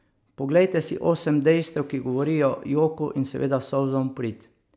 Poglejte si osem dejstev, ki govorijo joku in seveda solzam v prid.